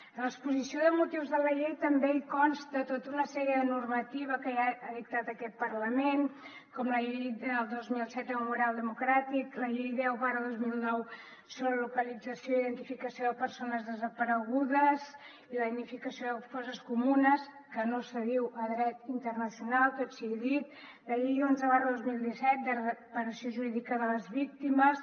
a l’exposició de motius de la llei també hi consta tota una sèrie de normativa que ja ha dictat aquest parlament com la llei del dos mil set del memorial democràtic la llei deu dos mil nou sobre la localització i la identificació de persones desaparegudes i la dignificació de fosses comunes que no s’adiu a dret internacional tot sigui dit la llei onze dos mil disset de reparació jurídica de les víctimes